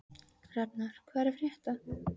Hrafnar, hvað er að frétta?